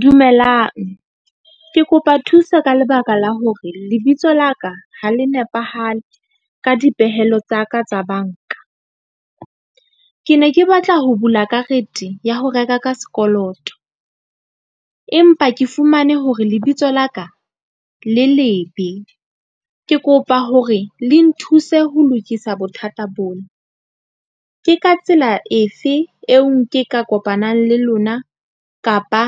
Dumelang ke kopa thuso ka lebaka la hore lebitso la ka ha le nepahale ka dipehelo tsa ka tsa banka. Ke ne ke batla ho bula karete ya ho reka ka sekoloto. Empa ke fumane hore lebitso la ka le lebe. Ke kopa hore le nthuse ho lokisa bothata bona. Ke ka tsela efe eo ke ka kopanang le lona kapa